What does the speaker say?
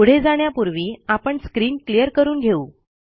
पुढे जाण्यापूर्वी आपण स्क्रीन क्लियर करून घेऊ